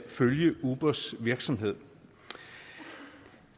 følge ubers virksomhed